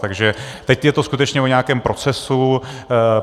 Takže teď je to skutečně o nějakém procesu.